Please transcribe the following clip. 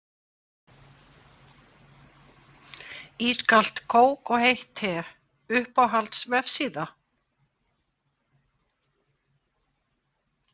Ískalt kók og heitt te Uppáhalds vefsíða?